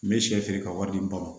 N bɛ sɛ feere ka wari di ma